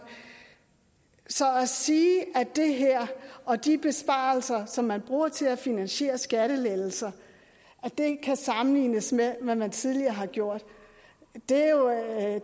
så at sige at det her og de besparelser som man bruger til at finansiere skattelettelser kan sammenlignes med hvad man tidligere har gjort er